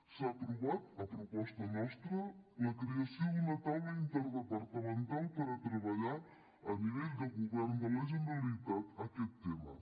s’ha aprovat a proposta nostra la creació d’una taula interdepartamental per treballar a nivell de govern de la generalitat aquest tema